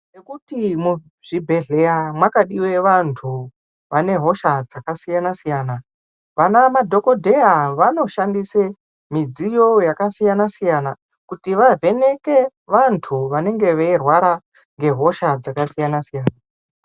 Ngekuti muzvibhedhlera mwakadiwe vanhu vane hosha dzakasiyana siyana . Vana madhokodheya vanoshandise midziyo yakasiyana siyana kuti vavheneke vanhu vanenge veirwara ngehosha dzakasiyana siyana.